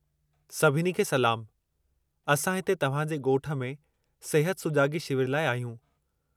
सभिनी खे सलामु, असां हिते तव्हां जे ॻोठ में सिहत सुजाॻी शिविर लाइ आहियूं।